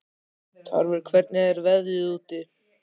Tarfur, hvernig er veðrið úti?